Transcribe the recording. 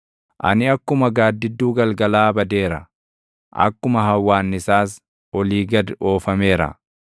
Ani akkuma gaaddidduu galgalaa badeera; akkuma hawwaannisaas olii gad oofameera.